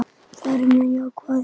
Þau eru mjög jákvæð.